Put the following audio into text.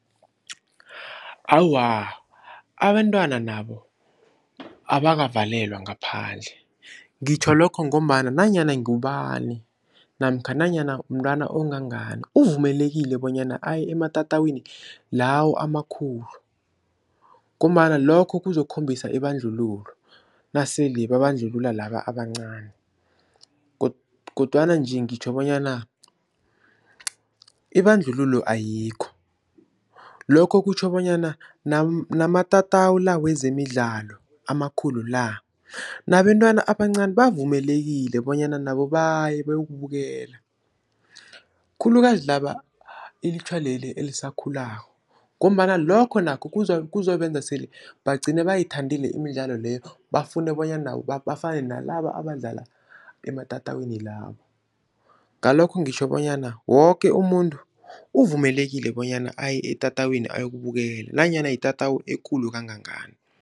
Awa, abentwana nabo abakavalelwa ngaphandle ngitjho lokho ngombana nanyana ngubani namkha nanyana umntwana ongangani uvumelekile bonyana aye ematatawini lawo amakhulu ngombana lokho kuzokhombisa ibandlululo nasele babandlulula laba abancani kodwana nje ngitjho bonyana ibandlululo ayikho. Lokho kutjho bonyana namatatawu la wezemidlalo amakhulu la nabentwana abancani bavumelekile bonyana nabo baye bayokubukela, khulukazi laba ilutjha leli elisakhulako ngombana lokho nakho kuzobenza sele bagcine bayithandile imidlalo leyo bafune bonyana nabo bafane nalaba abadlala ematatawini lawo. Ngalokho ngitjho bonyana woke umuntu uvumelekile bonyana aye etatawini ayokubukela nanyana yitatawu ekulu kangangani.